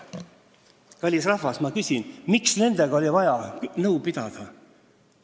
Kallis rahvas, ma küsin: miks nendega oli vaja nõu pidada?